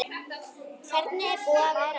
Hvernig er búið að vera?